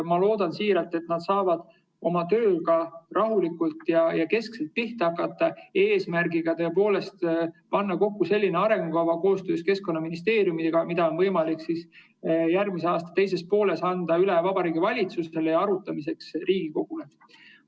Ma loodan siiralt, et nad saavad oma tööga rahulikult pihta hakata, eesmärgiga panna kokku selline arengukava, koostöös Keskkonnaministeeriumiga, mida on võimalik järgmise aasta teises pooles anda üle Vabariigi Valitsusele ja arutamiseks Riigikogule.